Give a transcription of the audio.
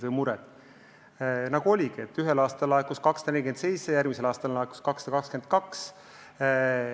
Sa ütlesid, et ühel aastal laekus 248 miljonit, järgmisel aastal laekus 222.